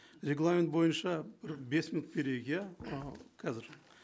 регламент бойынша бес минут берейік иә ы қазір